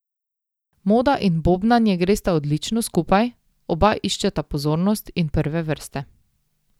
Moda in bobnanje gresta odlično skupaj, oba iščeta pozornost in prve vrste.